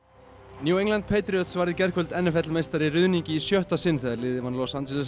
New England Patriots varð í gærkvöld n f l meistari í ruðningi í sjötta sinn þegar liðið vann Los Angeles